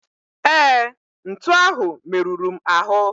Ee, ntu ahụ meruru m ahụ.